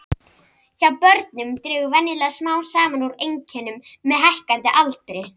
Hjá börnum dregur venjulega smám saman úr einkennum með hækkandi aldri.